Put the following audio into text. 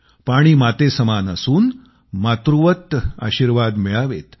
पाणी मातेसमान असून मातृवत आशीर्वाद मिळावेत